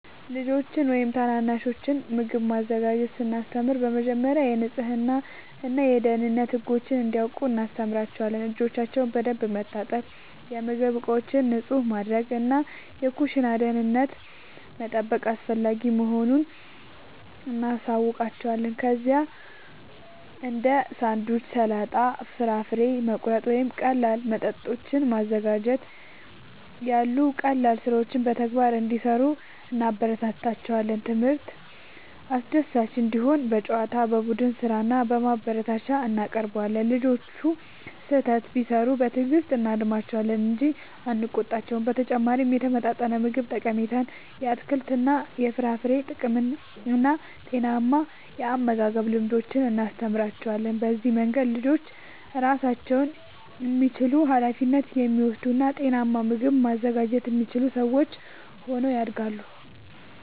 ለልጆች ወይም ታናናሾች ምግብ ማዘጋጀትን ስናስተምር በመጀመሪያ የንጽህና እና የደህንነት ህጎችን እንዲያውቁ እናስተምራቸዋለን። እጆቻቸውን በደንብ መታጠብ፣ የምግብ ዕቃዎችን ንጹህ ማድረግ እና የኩሽና ደህንነትን መጠበቅ አስፈላጊ መሆኑን እናሳያቸዋለን። ከዚያም እንደ ሳንድዊች፣ ሰላጣ፣ ፍራፍሬ መቁረጥ ወይም ቀላል መጠጦችን ማዘጋጀት ያሉ ቀላል ሥራዎችን በተግባር እንዲሠሩ እናበረታታቸዋለን። ትምህርቱ አስደሳች እንዲሆን በጨዋታ፣ በቡድን ሥራ እና በማበረታቻ እናቀርበዋለን። ልጆቹ ስህተት ቢሠሩ በትዕግሥት እናርማቸዋለን እንጂ አንቆጣቸውም። በተጨማሪም የተመጣጠነ ምግብ ጠቀሜታን፣ የአትክልትና የፍራፍሬ ጥቅምን እና ጤናማ የአመጋገብ ልምዶችን እናስተምራቸዋለን። በዚህ መንገድ ልጆች ራሳቸውን የሚችሉ፣ ኃላፊነት የሚወስዱ እና ጤናማ ምግብ ማዘጋጀት የሚችሉ ሰዎች ሆነው ያድጋሉ።